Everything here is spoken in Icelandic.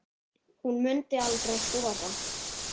Hún mundi aldrei þora.